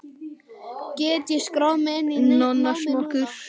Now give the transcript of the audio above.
Get ég skráð mig inn í námið núna?